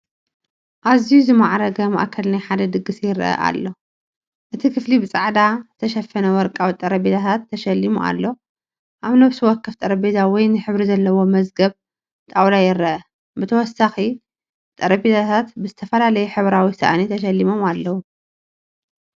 ኣዝዩ ዝማዕረገ ማእከል ናይ ሓደ ድግስ ይረአ ኣሎ። እቲ ክፍሊ ብጻዕዳ ዝተሸፈነ ወርቂ ጠረጴዛታት ተሸሊሙ ኣሎ። ኣብ ነፍሲ ወከፍ ጠረጴዛ ወይኒ ሕብሪ ዘለዎም መዝገብ ጣውላ ይርአ። ብተወሳኺ፡ ጠረጴዛታት ብዝተፈላለየ ሕብራዊ ሳእኒ ተሸሊሞም ኣለዉ።